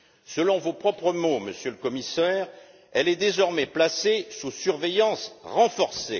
Selon vos propres mots, Monsieur le Commissaire, elle est désormais placée sous surveillance renforcée.